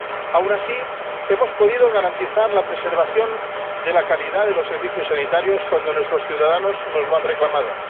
Aun así, hemos podido garantizar la preservación de la calidad de los servicios sanitarios cuando nuestros ciudadanos nos lo han reclamado.